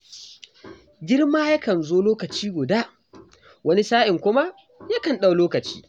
Girma yakan zo lokaci guda, wani sa'in kuma ya kan ɗau lokaci.